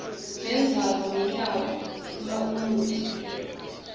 nendzawoiya lunydwa umaumuhle